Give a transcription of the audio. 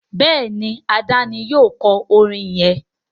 Béèni Ade ní yíò kò orin yén.